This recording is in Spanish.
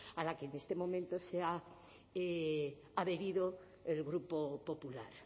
a la que en este momento se ha adherido el grupo popular